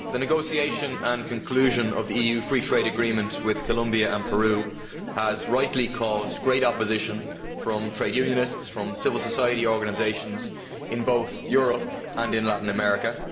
Madam President, the negotiation and conclusion of the EU free trade agreement with Colombia and Peru has rightly caused great opposition from trade unionists and from civil society organisations in both Europe and in Latin America.